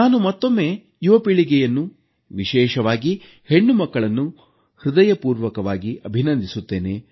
ನಾನು ಮತ್ತೊಮ್ಮೆ ಯುವ ಪೀಳಿಗೆಯನ್ನು ವಿಶೇಷವಾಗಿ ಹೆಣ್ಣುಮಕ್ಕಳನ್ನು ಹೃದಯಪೂರ್ವಕವಾಗಿ ಅಭಿನಂದಿಸುತ್ತೇನೆ